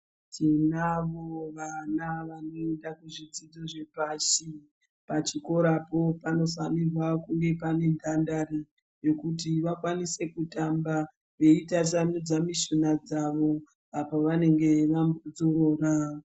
Tinavo vana vanoita zvidzidzo zvepashi. Pachikorapo panofanirwa kunga pane dhandari, yekuti vakwanise kutamba, veitasanudza mishuna dzavo, apo vanenge vambodzorora.